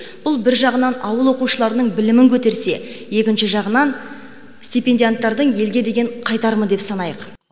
бұл бір жағынан ауыл оқушыларының білімін көтерсе екінші жағынан стипендианттардың елге деген қайтарымы деп санайық